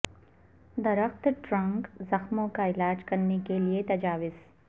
درخت ٹرنک زخموں کا علاج کرنے کے لئے تجاویز